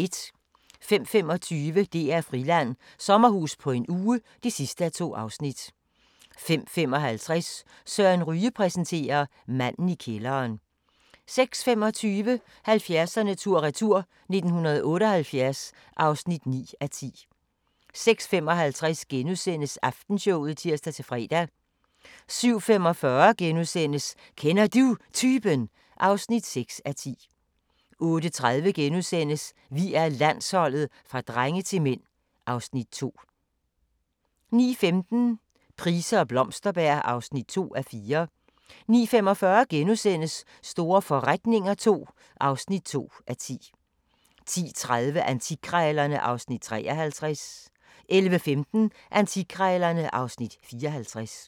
05:25: DR-Friland: Sommerhus på en uge (2:2) 05:55: Søren Ryge præsenterer: Manden i kælderen 06:25: 70'erne tur-retur: 1978 (9:10) 06:55: Aftenshowet *(tir-fre) 07:45: Kender Du Typen? (6:10)* 08:30: Vi er Landsholdet – fra drenge til mænd (Afs. 2)* 09:15: Price og Blomsterberg (2:4) 09:45: Store forretninger II (2:10)* 10:30: Antikkrejlerne (Afs. 53) 11:15: Antikkrejlerne (Afs. 54)